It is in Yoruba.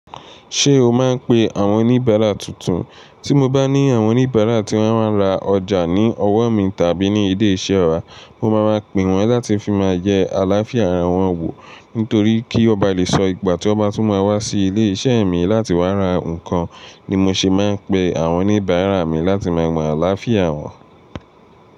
Ṣé o máa ń pe àwọn oníbàárà tuntun? Tí mo bá ní àwọn oníbàárà tí wọ́n máa ń ra ọjà ní ọwọ́ mi tàbí ní ilé iṣẹ́ wa, mo máa máa pè wọ́n láti fi máa yẹ àlàáfíà ara wọn wò, nítorí kí wọ́n ba lè sọ ìgbà tí wọ́n bá tún máa wá sí ilé iṣẹ́ mi láti wá ra nǹkan ni mo ṣe máa ń pe àwọn oníbàárà mi láti máa mọ àlàáfíà wọn.